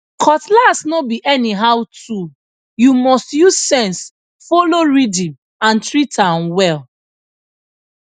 cutlass no be anyhow toolyou must use sense follow rhythm and treat am well